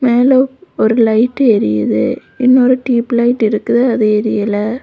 மேல ஒரு லைட் எரிது இன்னொரு டியுப்லைட் இருக்குது அது அரியில்ல.